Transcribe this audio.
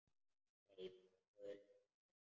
Hleyp frá gulu húsinu.